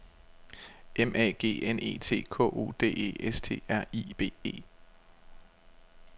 M A G N E T K O D E S T R I B E